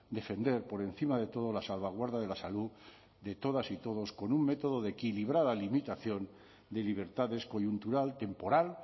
defender por encima de todo la salvaguarda de la salud de todas y todos con un método de equilibrada limitación de libertades coyuntural temporal